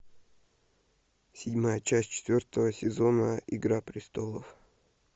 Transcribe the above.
седьмая часть четвертого сезона игра престолов